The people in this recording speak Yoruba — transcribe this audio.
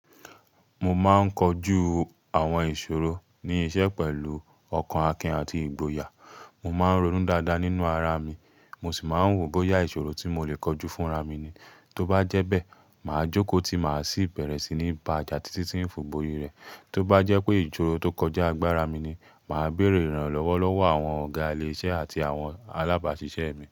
Mo máa ń kojú àwọn ìṣòro ní iṣẹ́ pẹ̀lú ọkàn akin àti ìgboyà. Mo máa ń ronú dáadáa nínú ara mi, mo sì máa ń wò bóyá ìṣòro tí mo lè kojú fúnra mi ni. Tó bá jẹ́ bẹ́ẹ̀, màá jókòó tí màá sì bẹ̀rẹ̀ sí ní bàa jà sí títí ń fi bori rẹ̀. Tó bá jẹ́ pé ìṣòro tó kọjá agbara mi ni, màá bèrè ìrànlọ́wọ́ lọ́wọ́ àwọn ọ̀gá ile iṣẹ́ àti àwọn alábáṣiṣẹ́ mi.